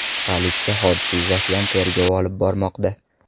Politsiya hodisa yuzasidan tergov olib bormoqda.